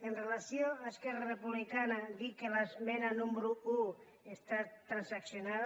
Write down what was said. amb relació a esquerra republicana dir que l’esmena número un està transaccionada